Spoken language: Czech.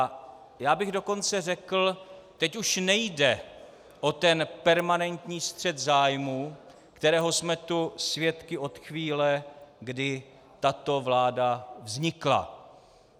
A já bych dokonce řekl - teď už nejde o ten permanentní střet zájmů, kterého jsme tu svědky od chvíle, kdy tato vláda vznikla.